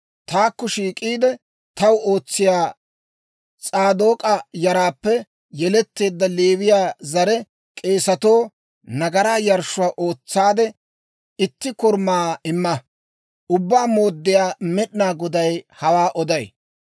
taakko shiik'iide, taw ootsiyaa S'aadook'a yaraappe yeletteedda Leewiyaa zare k'eesatoo nagaraa yarshshuwaa ootsaade, itti Korumaa imma. Ubbaa Mooddiyaa Med'inaa Goday hawaa oday.